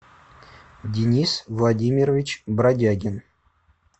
денис владимирович бродягин